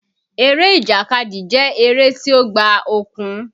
Eré ìjàkadì jẹ́ tí ó gba okun